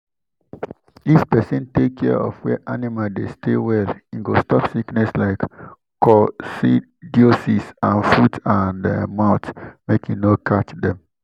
if person take care of where animal dey stay well e go stop sickness like coccidiosis and foot-and-mouth make e no catch dem.